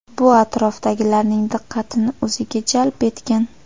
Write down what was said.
Bu atrofdagilarning diqqatini o‘ziga jalb etgan.